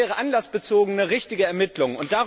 Das wäre eine anlassbezogene, richtige Ermittlung.